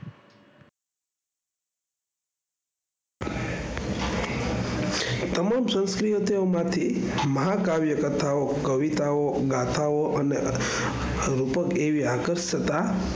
તમામ શક્તિઓ માંથી માટે મહાકાવ્ય કથાઓ કવિતાઓ ગાથાઓ અને લગભગ એવી આકર્ષતા,